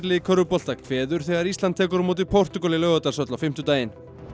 í körfubolta kveður þegar Ísland tekur á móti Portúgal í Laugardalshöll á fimmtudaginn